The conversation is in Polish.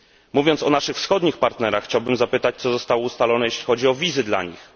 Mówiąc o naszych wschodnich partnerach, chciałbym zapytać, co zostało ustalone, jeśli chodzi o wizy dla nich?